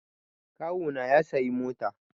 Kawu na ya sayi mota